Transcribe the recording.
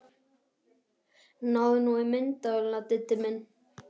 Náðu nú í myndavélina, Diddi minn!